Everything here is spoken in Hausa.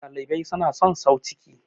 dalibai suna son sau ciki